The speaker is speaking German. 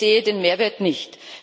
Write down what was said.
Also Ich sehe den Mehrwert nicht.